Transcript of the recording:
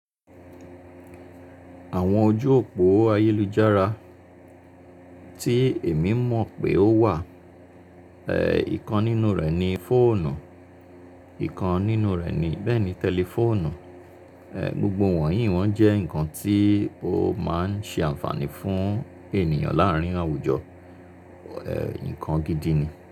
Àwọn ojú òpó ayélujára tí èmi mọ̀ pé ó wà, eh, ìkan nínú rẹ̀ ni fóònù, ìkan nínú rẹ̀ ni bẹ́ẹ̀ ni tẹlifóònù, gbogbo wọ̀nyí wọn jẹ́ nǹkan tí ó máa ń ṣe ànfàní fún ènìyàn láàrín àwùjọ, nǹkan gidi ni.